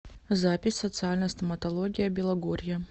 запись социальная стоматология белогорья